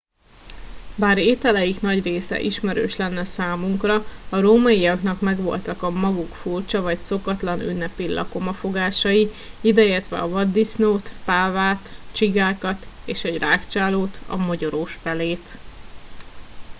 bár ételeik nagy része ismerős lenne számunkra a rómaiaknak megvoltak a maguk furcsa vagy szokatlan ünnepi lakomafogásai ideértve a vaddisznót pávát csigákat és egy rágcsálót a mogyorós pelét